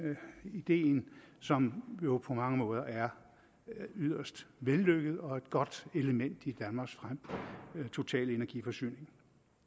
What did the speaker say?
ideen som jo på mange måder er yderst vellykket og et godt element i danmarks totale energiforsyning